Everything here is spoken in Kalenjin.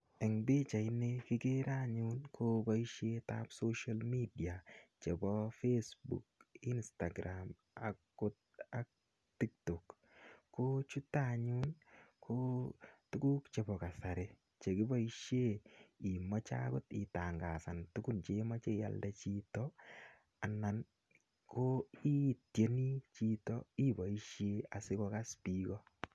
Eng pichait ni kikere anyun ko boisiet ap social media, chebo facebook, instagram akot ak tiktok. Ko chuto anyun, ko tuguk chebo kasari che kiboisie imache angot itangasan tugun cheimache ialde chito anan ko itieni chito iboisie asikokas biik ko.